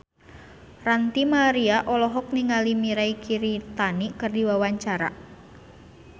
Ranty Maria olohok ningali Mirei Kiritani keur diwawancara